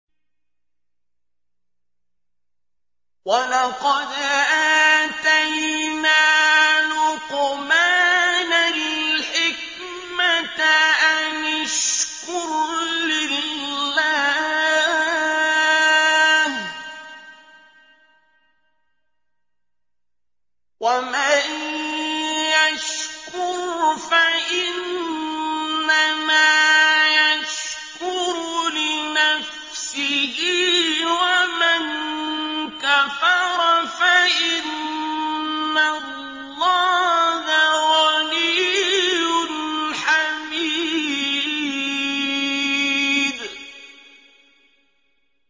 وَلَقَدْ آتَيْنَا لُقْمَانَ الْحِكْمَةَ أَنِ اشْكُرْ لِلَّهِ ۚ وَمَن يَشْكُرْ فَإِنَّمَا يَشْكُرُ لِنَفْسِهِ ۖ وَمَن كَفَرَ فَإِنَّ اللَّهَ غَنِيٌّ حَمِيدٌ